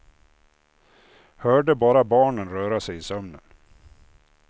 Hörde bara barnen röra sig i sömnen.